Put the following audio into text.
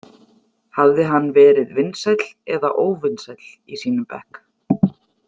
Hafði hann verið vinsæll eða óvinsæll í sínum bekk?